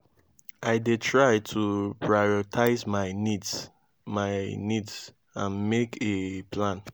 i dey try to prioritize my needs my needs and make a plan.